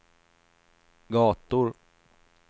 gator